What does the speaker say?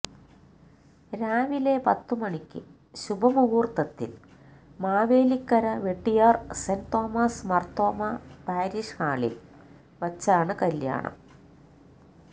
രാവിലെ പത്ത് മണിക്ക് ശുഭ മുഹൂർത്തത്തിൽ Mavelikkara Vettiyar Saint Thomas Marthoma parish ഹാളിൽ വച്ചാണ് കല്യാണം